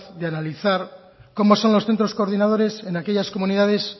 de analizar cómo son los centros coordinadores en aquellas comunidades